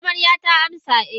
Amaryata ta amsa eh.